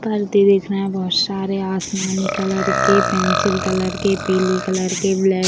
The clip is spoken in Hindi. पर्दे दिख रहे हैं बहोत सारे आसमानी कलर के पेंसिल कलर के पीली कलर के ब्लैक --